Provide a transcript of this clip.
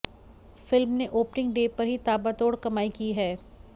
film ने opening day पर ही ताबड़तोड़ कमाई की है